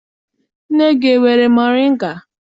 Nne gị enwere moringa?